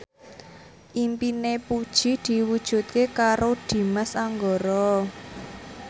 impine Puji diwujudke karo Dimas Anggara